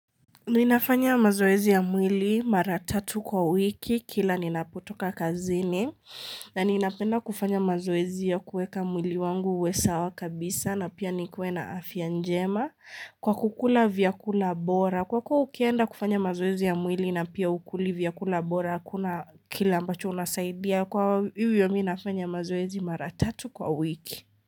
Ninafanya mazoezi ya mwili mara tatu kwa wiki kila ninapotoka kazini na ninapenda kufanya mazoezi ya kuweka mwili wangu uwe sawa kabisa na pia nikuwe na afya njema kwa kukula vyakula bora kwa kuwa ukienda kufanya mazoezi ya mwili na pia hukuli vyakula bora hakuna kile ambacho unasaidia kwa hivyo mimi nafanya mazoezi mara tatu kwa wiki.